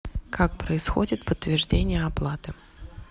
как происходит подтверждение оплаты